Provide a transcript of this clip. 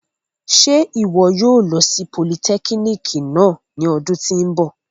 Ṣe iwọ yóò lo si politẹkínikì náa ni ọdun ti n bọ?